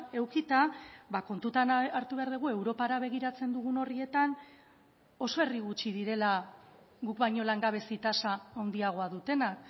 edukita kontutan hartu behar dugu europara begiratzen dugun horrietan oso herri gutxi direla guk baino langabezi tasa handiagoa dutenak